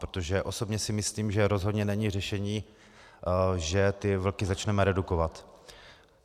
Protože osobně si myslím, že rozhodně není řešením, že ty vlky začneme redukovat.